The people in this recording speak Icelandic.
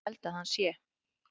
Ég held að hann sé.